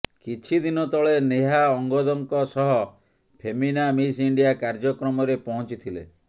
କିଛି ଦିନ ତଳେ ନେହା ଅଙ୍ଗଦଙ୍କ ସହ ଫେମିନା ମିସ୍ ଇଣ୍ଡିଆ କାର୍ୟ୍ୟକ୍ରମରେ ପହଞ୍ଚିଥିଲେ